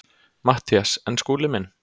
MATTHÍAS: En Skúli minn.